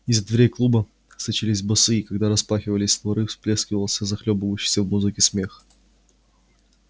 из-за дверей клуба сочились басы и когда распахивались створы выплёскивался захлёбывающийся в музыке смех